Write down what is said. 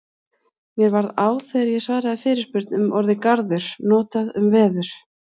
Mér varð á þegar ég svaraði fyrirspurn um orðið garður notað um veður.